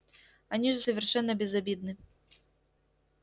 они же совершенно безобидны